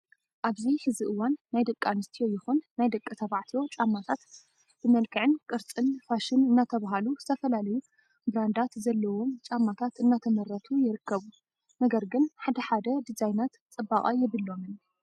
ኣብዚ ሕዚ እዋን ናይ ደቂ ኣንስትዮ ይኹን ናይ ደቂ ተባዕትዮ ጫማታት ብመንክዕን ቅርፅን ፋሽን እናተብሃሉ ዝተፈላለዩ ብራንዳት ዘለዎም ጫማታት እናተመረቱ ይርከቡ። ነገር ግን ሓደ ሓደ ድዛይናት ፅባቀ የብሎምን።